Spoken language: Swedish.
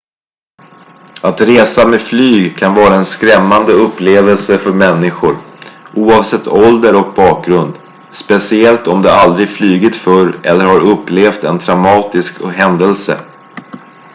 att resa med flyg kan vara en skrämmande upplevelse för människor oavsett ålder och bakgrund speciellt om de aldrig flugit förr eller har upplevt en traumatisk händelse